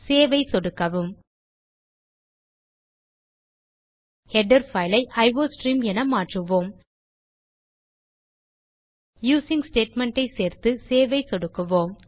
save ஐ சொடுக்கவும் header file ஐ அயோஸ்ட்ரீம் என மாற்றுவோம யூசிங் ஸ்டேட்மெண்ட் ஐ சேர்த்து சேவ் ஐ சொடுக்கவும்